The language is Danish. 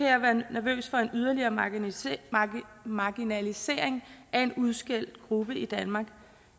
jeg være nervøs for en yderligere marginalisering marginalisering af en udskældt gruppe i danmark